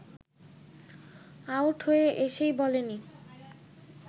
out হয়ে এসেই বলেনি